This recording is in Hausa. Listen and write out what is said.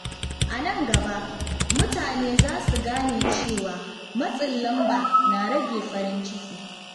A nan gaba, mutane za su gane cewa matsin lamba na rage farin ciki.